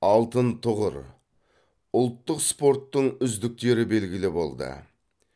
алтын тұғыр ұлттық спорттың үздіктері белгілі болды